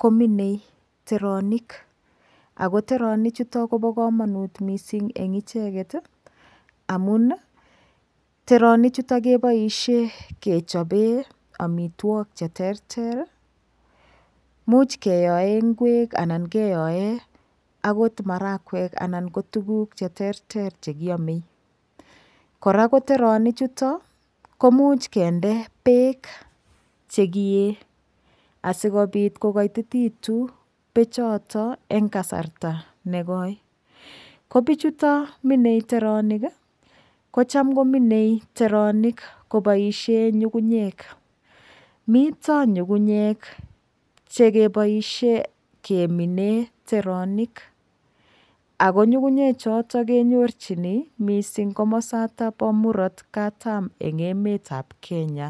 kominei teranik ako teranik chuto koba kamanut missing eng icheket amuun teronik chutok keboishe kechobee amitwokik che terter imuch keyoen ngwek anan keyoen agot marakwek anan ko tuguk cheterter chekiome kora koteroni chuto komuch kinde beek chekiyee asikopit kokoititekitun bechoto en kasarta nekoi ko bichutok mine teronikikocham kominei teronik koboishen nyung'unyek mito nyung'unyek chekiboishen kemine teronik Ako nyung'unyek choton mising kenyorchi mising komosotok bo murot katam en emetab Kenya